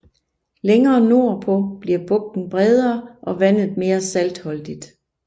Længere nordpå bliver bugten bredere og vandet mere saltholdigt